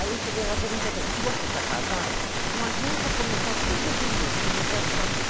Aí eu cheguei lá e perguntei para ele, se você está casado, não adianta começar tudo de novo, que eu não quero saber.